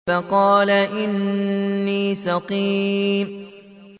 فَقَالَ إِنِّي سَقِيمٌ